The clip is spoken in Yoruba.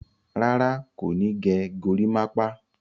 Rárá, kò ní gẹ gorímápá.